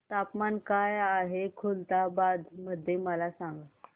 तापमान काय आहे खुलताबाद मध्ये मला सांगा